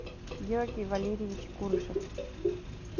георгий валерьевич курышев